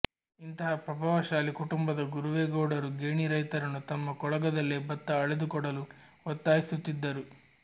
ಇಂತಹ ಪ್ರಭಾವಶಾಲಿ ಕುಟುಂಬದ ಗುರುವೇಗೌಡರು ಗೇಣಿ ರೈತರನ್ನು ತಮ್ಮ ಕೊಳಗದಲ್ಲೇ ಬತ್ತ ಅಳೆದುಕೊಡಲು ಒತ್ತಾಯಿಸುತ್ತಿದ್ದರು